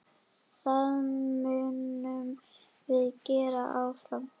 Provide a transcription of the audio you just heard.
Það munum við gera áfram.